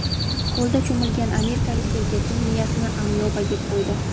Ko‘lda cho‘milgan amerikalik erkakning miyasini amyoba yeb qo‘ydi.